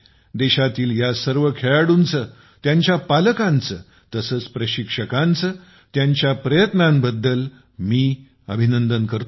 देशातील या सर्व खेळाडूंचे त्यांच्या पालकांचे तसेच प्रशिक्षकांचे त्यांच्या प्रयत्नांबद्दल अभिनंदन करतो